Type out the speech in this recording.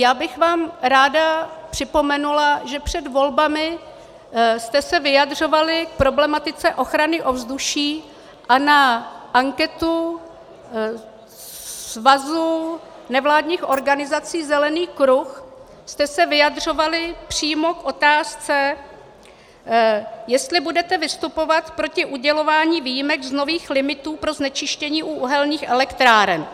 Já bych vám ráda připomenula, že před volbami jste se vyjadřovali k problematice ochrany ovzduší a na anketu svazu nevládních organizací Zelený kruh jste se vyjadřovali přímo k otázce, jestli budete vystupovat proti udělování výjimek z nových limitů pro znečištění u uhelných elektráren.